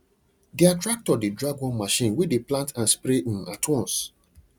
their tractor dey drag one machine wey dey plant and spray um at once